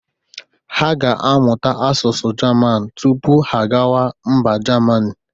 Ha ga-amụta asụsụ Jaman tupu ha agawa mba Jamanị.